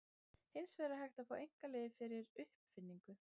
Hins vegar er hægt að fá einkaleyfi fyrir uppfinningu.